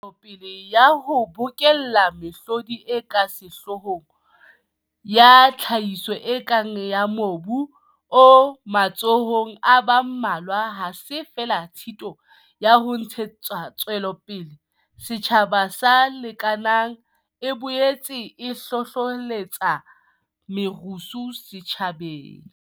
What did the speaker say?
Tswelopele ya ho bokella mehlodi e ka sehloohong ya tlhahiso e kang ya mobu o matsohong a ba mmalwa ha se feela tshita ya ho ntshe tsapele setjhaba se lekanang, e boetse e hlohlelletsa merusu setjhabeng.